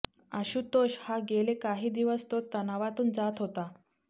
आशुतोष हा गेले काही दिवस तो तणावातून जात होता